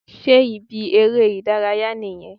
Sé ibi eré ìdárayá nìyẹn?